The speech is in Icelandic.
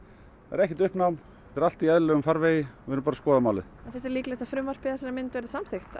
ekkert uppnám þetta er allt í eðlilegum farvegi við erum bara að skoða málin en finnst þér líklegt að frumvarpið í þessari mynd verði samþykkt